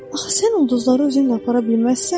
Axı sən ulduzları özünlə apara bilməzsən?